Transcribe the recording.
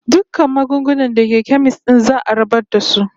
Dukkan magunguna da ke kemis din za'a rabar da su.